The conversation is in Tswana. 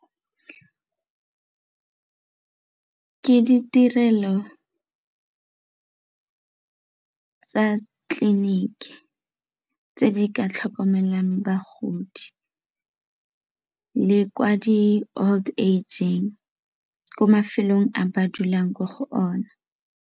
Ke ditirelo tsa tleliniki tse di ka tlhokomelang bagodi le kwa di-old age-ing ko mafelong a ba dulang ko go ona.